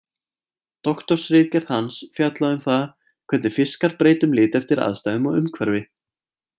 Doktorsritgerð hans fjallaði um það hvernig fiskar breyta um lit eftir aðstæðum og umhverfi.